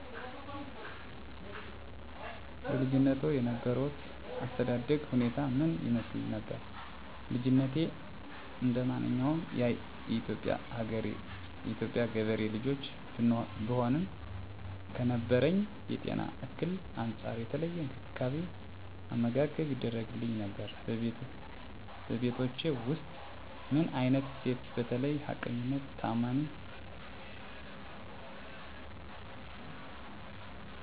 በልጅነትዎ የነበሮት የአስተዳደግ ሁኔታ ምን ይመስል ነበር? ልጅነቴ እንደማንኛውም የኢትዮጵያ ገበሬ ልጆች ብሆንም ከነበረብኝ የጤና እክል አንፃር የተለየ እንክብካቤ አመጋገብ ይደረግግልኝ ነበር በቤታቹ ውስጥ ምን አይነት እሴቶች በተለይ ሀቀኝነት ታአማኒትና ተጠያቂነት በስፋት የሚስተዋል ሲሆን ወይም እምነቶች ላይ አፅንዖት ተሰጥቶ ነበረው እርስ በርሳችን መከባበር መቻቻል እንዲኖር አንዱ አንዱን ጥሎ ለማለፍ ሳይሆን በመደጋገፍ የጋራ የሆኑ ወግ ባህል እምነቶችን ጠብቀን እንድንሄድ ይደረግ ነበር